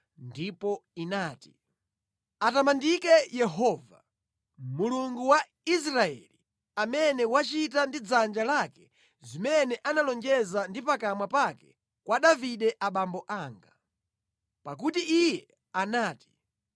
Ndipo inati, “Atamandike Yehova, Mulungu wa Israeli amene wachita ndi dzanja lake zimene analonjeza ndi pakamwa pake kwa Davide abambo anga. Pakuti Iye anati,